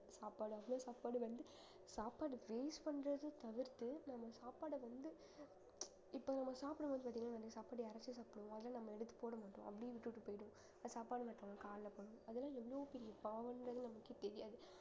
சாப்பாடு அவ்வளவு சாப்பாடு வந்து சாப்பாடு waste பண்றதை தவிர்த்து நம்ம சாப்பாட வந்து இப்ப நம்ம சாப்பிடும்போது பாத்தீங்கன்னா இந்த சாப்பாடு இறைச்சு சாப்பிடுவோம் ஆனா நம்ம எடுத்து போட மாட்டோம் அப்படியே விட்டுட்டு போயிடுவோம் அப்ப சாப்பாடு மத்தவங்க கால்ல படும் அதெல்லாம் எவ்வளவு பெரிய பாவங்கிறது நமக்கே தெரியாது